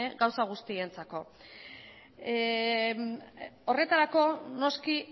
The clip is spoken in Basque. gauza guztientzako horretarako noski